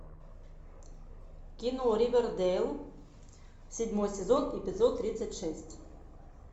кино ривердейл седьмой сезон эпизод тридцать шесть